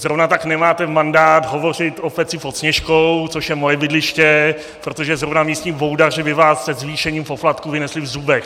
Zrovna tak nemáte mandát hovořit o Peci pod Sněžkou, což je moje bydliště, protože zrovna místní boudaři by vás se zvýšením poplatků vynesli v zubech.